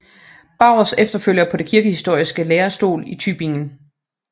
Baurs efterfølger på den kirkehistoriske lærestol i Tübingen